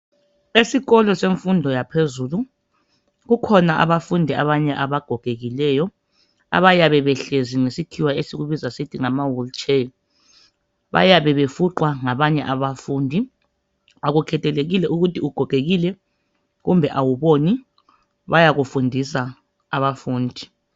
Esikolo semfundo yaphezulu, kukhona abafundi abanye abagogekileyo abayabe behlezi ngesikhiwa esikubiza sithi ngama wilitsheya. Bayabe befuqwa ngabanye abafundi. Akukhethekile ukuthi ugogekile kumbe awuboni, bayakufundisa abafundi.